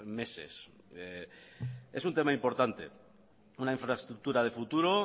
meses es un tema importante una infraestructura de futuro